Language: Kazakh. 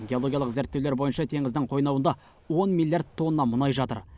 геологиялық зерттеулер бойынша теңіздің қойнауында он миллиард тонна мұнай жатыр